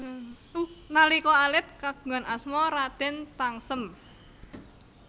Nalika alit kagungan asma Raden Tangsem